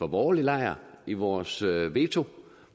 borgerlige lejr i vores veto